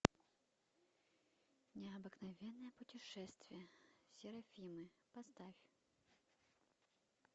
необыкновенное путешествие серафимы поставь